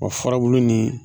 farabulu nin